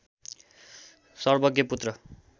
सर्वज्ञ पुत्र